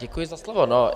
Děkuji za slovo.